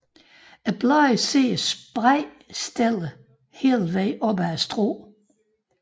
Bladene sidder spredt stillet hele vejen op ad strået